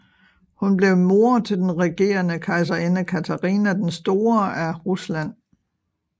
Hun blev mor til den regerende kejserinde Katharina den Store af Rusland